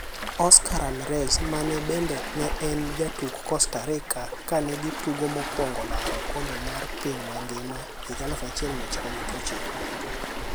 Oscar Ramirez mane bende ne en jatuk Costa Rica kane gi tugo mokwongo laro okombe mar piny mangima 1990.